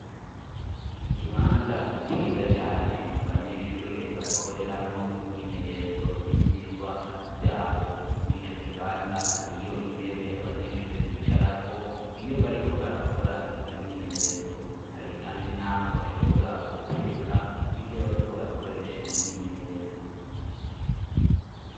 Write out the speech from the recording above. Ikibanza ciza cane abanyeshure bakoreramwo imyimenyerezo y'ivyigwa vyabo mur'ico kibanza hariyo intebe abanyeshure bicarako iyo bariko barakora iyo myimenyerezo, hari kandi naho bashobora gutereka ivyo bariko barakoresha mu myimenyerezo.